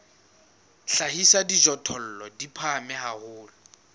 hlahisa dijothollo di phahame haholo